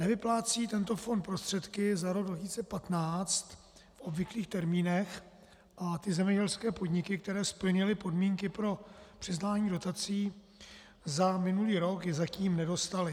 Nevyplácí tento fond prostředky za rok 2015 v obvyklých termínech a ty zemědělské podniky, které splnily podmínky pro přiznání dotací, za minulý rok je zatím nedostaly.